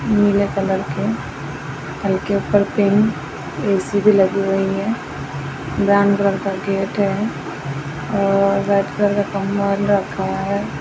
नीले कलर के और उनके ऊपर पैंट ऐ सी भी लगी हुई है ब्राउन कलर का गेट है और रेड कलर का कंबल रखा हैं।